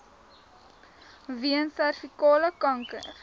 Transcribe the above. weens servikale kanker